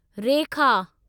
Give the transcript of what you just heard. रेखा